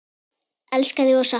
Elska þig og sakna.